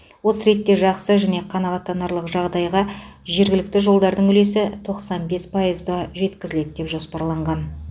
осы ретте жақсы және қанағаттандырарлық жағдайдағы жергілікті жолдардың үлесі тоқсан бес пайызда жеткізіледі деп жоспарланған